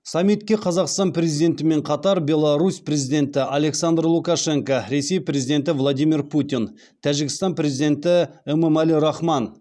саммитке қазақстан президентімен қатар беларусь президенті александр лукашенко ресей президенті владимир путин тәжікстан президенті эмомали рахман